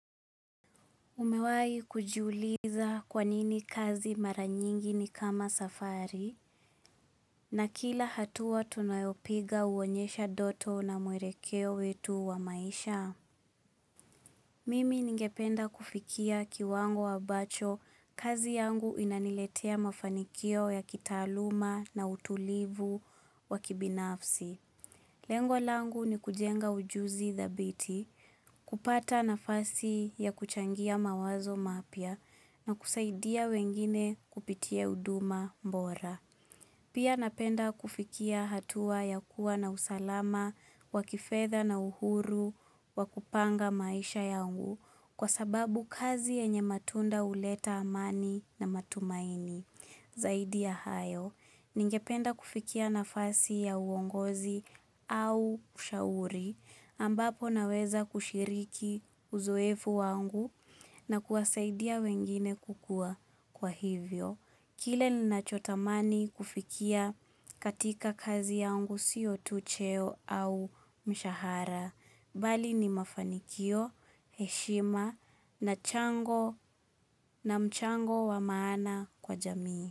Umewahi kujiuliza kwa nini kazi mara nyingi ni kama safari na kila hatua tunayopiga huonyesha ndoto na mwelekeo wetu wa maisha. Mimi ningependa kufikia kiwango ambacho kazi yangu inaniletea mafanikio ya kitaaluma na utulivu wa kibinafsi. Lengo langu ni kujenga ujuzi thabiti, kupata nafasi ya kuchangia mawazo mapya na kusaidia wengine kupitia huduma bora. Pia napenda kufikia hatua ya kuwa na usalama, wa kifedha na uhuru, wa kupanga maisha yangu kwa sababu kazi yenye matunda huleta amani na matumaini. Zaidi ya hayo, ningependa kufikia nafasi ya uongozi au kushauri ambapo naweza kushiriki uzoefu wangu na kuwasaidia wengine kukua kwa hivyo. Kile ninachotamani kufikia katika kazi yangu si tu cheo au mshahara. Bali ni mafanikio, heshima na mchango wa maana kwa jamii.